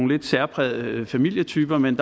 lidt særprægede familietyper men